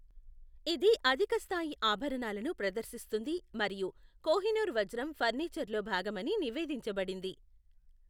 ఇది అధిక స్థాయి ఆభరణాలను ప్రదర్శిస్తుంది మరియు కోహినూర్ వజ్రం ఫర్నిచర్లో భాగమని నివేదించబడింది.